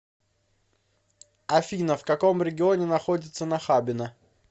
афина в каком регионе находится нахабино